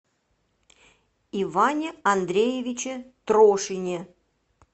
иване андреевиче трошине